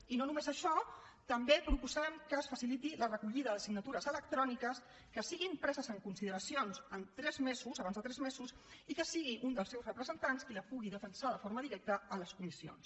i no només això també proposem que es faciliti la recollida de signatures electròniques que siguin preses en consideració en tres mesos abans de tres mesos i que sigui un dels seus representants qui la pugui defensar de forma directa a les comissions